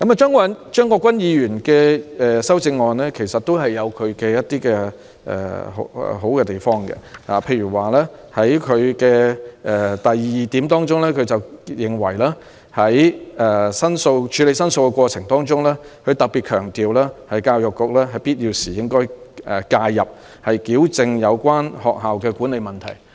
張國鈞議員的修正案也有一些好的地方，例如在第二項提及處理申訴的過程，他特別強調"在必要時亦須由教育局介入，以糾正有關學校的管理問題"。